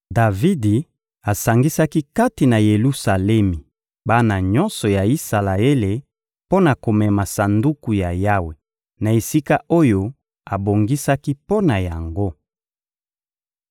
Davidi asangisaki kati na Yelusalemi bana nyonso ya Isalaele mpo na komema Sanduku ya Yawe na esika oyo abongisaki mpo na yango.